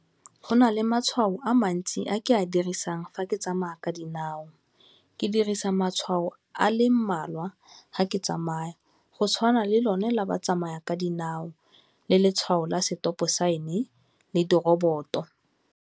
Go na le matshwao a mantsi a ke a dirisang fa ke tsamaya ka dinao, ke dirisa matshwao a le mmalwa ga ke tsamaya go tshwana le lone la batsamaya ka dinao le letshwao la setopo sign-e le dirobot-o.